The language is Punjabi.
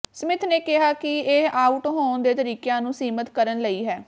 ਸਮਿਥ ਨੇ ਕਿਹਾ ਕਿ ਇਹ ਆਊਟ ਹੋਣ ਦੇ ਤਰੀਕਿਆਂ ਨੂੰ ਸੀਮਤ ਕਰਨ ਲਈ ਹੈ